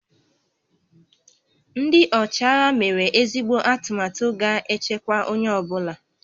Ndị ọchịagha mere ezigbo atụmatụ ga-echekwa onye ọ bụla